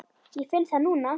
Ég finn það núna.